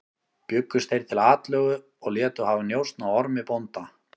Bjuggust þeir til atlögu og létu hafa njósn á Ormi bónda.